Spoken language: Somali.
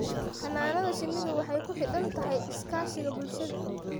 Xannaanada shinnidu waxay ku xidhan tahay iskaashiga bulshada.